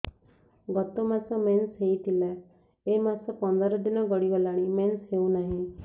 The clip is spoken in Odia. ଗତ ମାସ ମେନ୍ସ ହେଇଥିଲା ଏ ମାସ ପନ୍ଦର ଦିନ ଗଡିଗଲାଣି ମେନ୍ସ ହେଉନାହିଁ